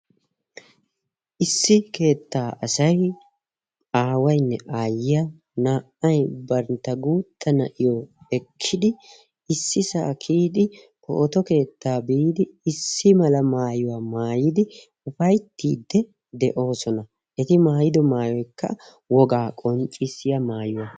Issi keettaa asay aawaynne aayiyaa na"ay bantta guuttaa na'iyo ekkidi issisaa kiyidi pootto keettaa biidi issi mala maayuwa maayidi ufayttiidi de'oosona. Eti maayiddo maayoykka wogaa qonccissiya maayuwa.